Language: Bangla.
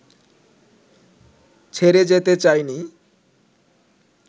ছেড়ে যেতে চায়নি